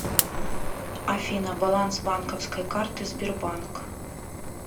афина баланс банковской карты сбербанк